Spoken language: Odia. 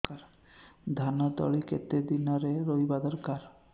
ଧାନ ତଳି କେତେ ଦିନରେ ରୋଈବା ଦରକାର